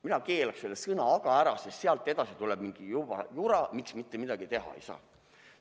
Mina keelaks selle sõna "aga" ära, sest sealt edasi tuleb mingi jura, miks mitte midagi teha ei saa.